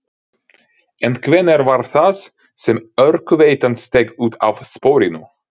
En hvenær var það sem Orkuveitan steig út af sporinu?